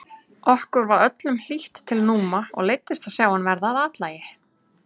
Okkur var öllum hlýtt til Núma og leiddist að sjá hann verða að athlægi.